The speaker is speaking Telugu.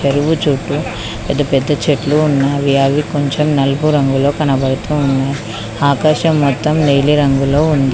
చెరువు చుట్టూ పెద్ద పెద్ద చెట్లు ఉన్నాయి అవి కొంచెం నలుపు రంగులో కనబడుతున్నాయి ఆకాశం మొత్తం నీలిరంగులో ఉంది.